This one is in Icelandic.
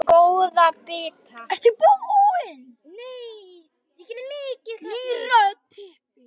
Ný rödd.